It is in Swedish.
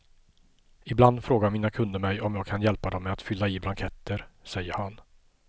Ibland frågar mina kunder mig om jag kan hjälpa dem med att fylla i blanketter, säger han.